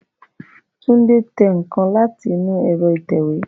Tunde tẹ nǹkan láti inú ẹ̀rọ ìtẹ̀wé